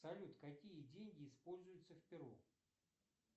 салют какие деньги используются в перу